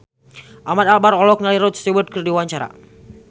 Ahmad Albar olohok ningali Rod Stewart keur diwawancara